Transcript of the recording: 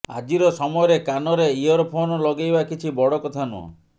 ଆଜିର ସମୟରେ କାନରେ ଇୟରଫୋନ୍ ଲଗେଇବା କିଛି ବଡ କଥା ନୁହଁ